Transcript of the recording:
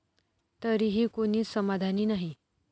तरीही कुणीच समाधानी नाही!